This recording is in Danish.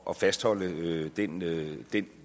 at fastholde den linje